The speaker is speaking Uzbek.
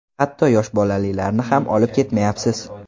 Hatto yosh bolalilarni ham olib ketmayapsiz.